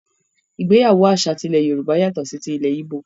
Ìgbéyàwó àṣà tí ilẹ́ Yorùbá yàtọ̀ sí tí ilẹ̀ yíbò.